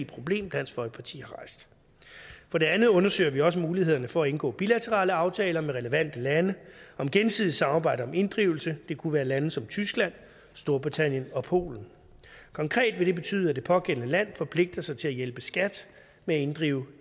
problem dansk folkeparti har rejst for det andet undersøger vi også mulighederne for at indgå bilaterale aftaler med relevante lande om gensidigt samarbejde om inddrivelse det kunne være lande som tyskland storbritannien og polen konkret vil det betyde at det pågældende land forpligter sig til at hjælpe skat med at inddrive